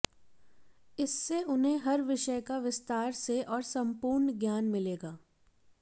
इससे उन्हें हर विषय का विस्तार से और संपूर्ण ज्ञान मिलेगा